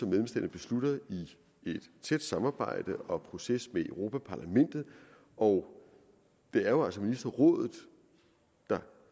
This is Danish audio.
beslutter i et tæt samarbejde og proces med europa parlamentet og det er jo altså ministerrådet der